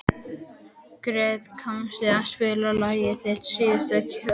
Gretar, kanntu að spila lagið „Þitt síðasta skjól“?